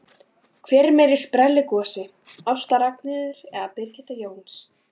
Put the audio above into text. Hver er meiri sprelligosi, Ásta Ragnheiður eða Birgitta Jóns?